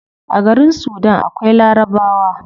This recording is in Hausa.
A garin sudan akwai larabawa